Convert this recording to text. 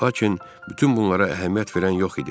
Lakin bütün bunlara əhəmiyyət verən yox idi.